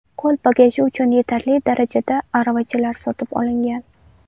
Qo‘l bagaji uchun yetarli darajada aravachalar sotib olingan.